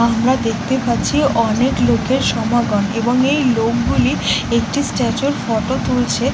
আমরা দেখতে পাচ্ছি অনেক লোকের সমাগম এবং এই লোকগুলি একটি স্ট্যাচুর ফটো তুলছে।